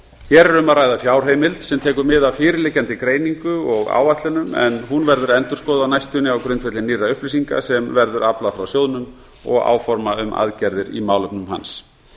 hér er um að ræða fjárheimild sem tekur mið af fyrirliggjandi greiningu og áætlunum en hún verður endurskoðuð á næstunni á grundvelli nýrra upplýsinga sem verður aflað frá sjóðnum og áforma um aðgerðir í málefnum hans